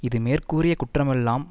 இது மேற்கூறிய குற்றமெல்லாம்